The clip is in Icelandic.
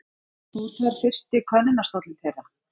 Fór þar fyrsti könnustóllinn þeirra?